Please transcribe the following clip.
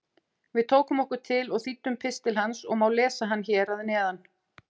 Við tókum okkur til og þýddum pistil hans og má lesa hann hér að neðan: